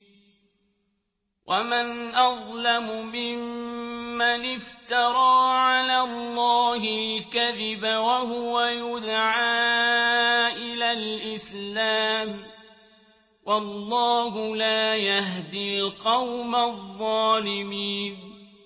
وَمَنْ أَظْلَمُ مِمَّنِ افْتَرَىٰ عَلَى اللَّهِ الْكَذِبَ وَهُوَ يُدْعَىٰ إِلَى الْإِسْلَامِ ۚ وَاللَّهُ لَا يَهْدِي الْقَوْمَ الظَّالِمِينَ